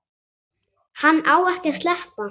Hann á ekki að sleppa.